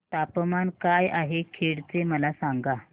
तापमान काय आहे खेड चे मला सांगा